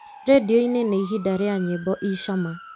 rĩndiũ-inĩ nĩ ihinda rĩa nyĩmbo i cama